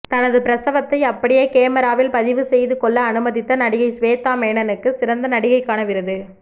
தனது பிரசவத்தை அப்படியே கேமிராவில் பதிவு செய்து கொள்ள அனுமதித்த நடிகை சுவேதா மேனனுக்கு சிறந்த நடிகைக்கான விருது